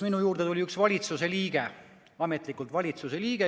Minu juurde tuli üks valitsuse liige, ametlikult valitsuse liige.